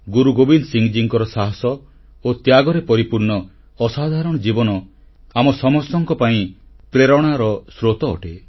ଗୁରୁଗୋବିନ୍ଦ ସିଂଙ୍କର ସାହସ ଓ ତ୍ୟାଗରେ ପରିପୂର୍ଣ୍ଣ ଅସାଧାରଣ ଜୀବନ ଆମ ସମସ୍ତଙ୍କ ପାଇଁ ପ୍ରେରଣାର ସ୍ରୋତ ଅଟେ